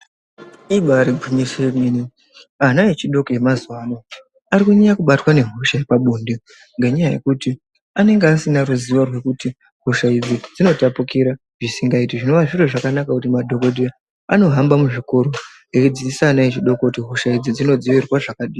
Ibairi ngwinyiso ye mene ana echidoko ema zuva ano ari kunyanya kubatwa nge hosha yepa bonde ngenya yekuti anenge asina ruzivo rwekuti hosha idzi dzinotapukira zvisingaiti zvinova zviro zvakanaka kuti madhokoteya anohamba mu zvikora eidzidzisa ana echidoko kuti hosha idzi dzino dzivirirwa zvakadi.